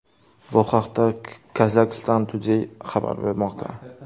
Bu haqda Kazakhstan Today xabar bermoqda .